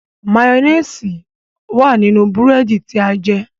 Mayonnaise wá nínú búrẹ́dì tí a jẹ.